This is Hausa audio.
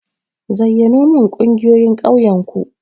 Zayyanomin ƙungiyoyin ƙauyen ku.